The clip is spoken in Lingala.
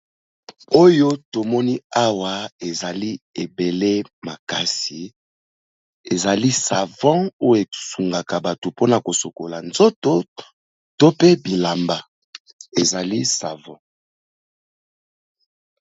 Oyo tomoni awa ezali ebele makasi ezali savon, oyo esungaka bato mpona ko sokola nzoto to pe bilamba ezali savon.